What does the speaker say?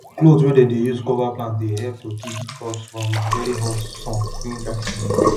cloth wey dem dey use cover plant dey help to keep the crops from very hot sun during dry season